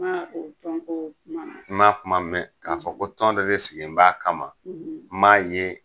N'a ko tɔn ko kuma na n ma kuma mɛn k'a fɔ ko tɔn dɔ de sigilen b'a kama n' ma ye